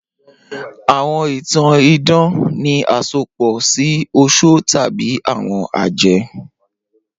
Awọn itan idan ni asopọ si oṣó tabi awọn ajẹ.